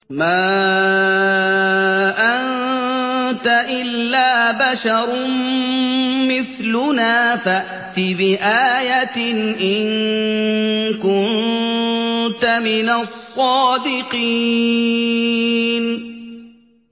مَا أَنتَ إِلَّا بَشَرٌ مِّثْلُنَا فَأْتِ بِآيَةٍ إِن كُنتَ مِنَ الصَّادِقِينَ